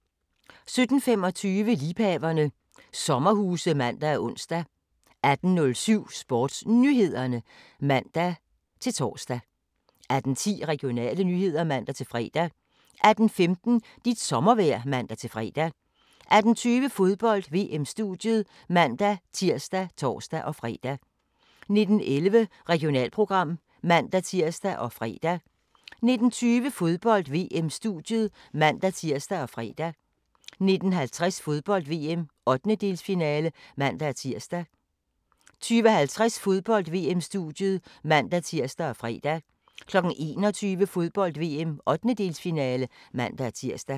17:25: Liebhaverne - sommerhuse (man og ons) 18:07: SportsNyhederne (man-tor) 18:10: Regionale nyheder (man-fre) 18:15: Dit sommervejr (man-fre) 18:20: Fodbold: VM-studiet (man-tir og tor-fre) 19:11: Regionalprogram (man-tir og fre) 19:20: Fodbold: VM-studiet (man-tir og fre) 19:50: Fodbold: VM - 1/8-finale (man-tir) 20:50: Fodbold: VM-studiet (man-tir og fre) 21:00: Fodbold: VM - 1/8-finale (man-tir)